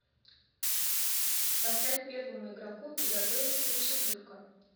поставь первому игроку приготовиться четырка